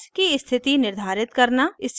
bonds की स्थिति निर्धारित करना